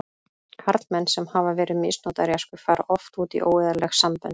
Karlmenn sem hafa verið misnotaðir í æsku fara oft út í óeðlileg sambönd.